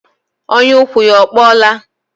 Ọnyà ụkwụ ya ọ kpọọla?